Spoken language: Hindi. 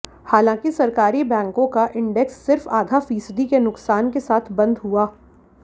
हालांकि सरकारी बैंकों का इंडेक्स सिर्फ आधा फीसदी के नुकसान के साथ बंद हुआ